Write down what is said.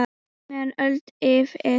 meðan öld lifir